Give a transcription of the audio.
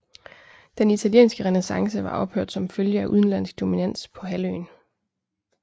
Den italienske renæssance var ophørt som følge af udenlandsk dominans på halvøen